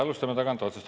Alustame tagantotsast.